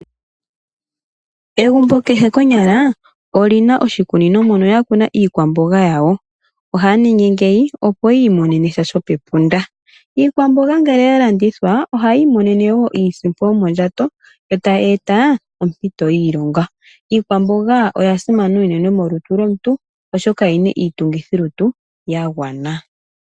Egumbo kehe konyala olina oshikunino mono ya kuna iikwamboga yawo. Ohaya ningi ngeyi opo yi imonene sha shopepunda. Iikwamboga ngele ya landithwa ohayi imonene wo iisimpo yomondjato ,yo tayi eta ompito yiilonga. Iikwamboga oya simana unene molutu lomuntu oshoka oyina iitungithilutu ya gwana.